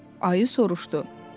Ayı soruşdu.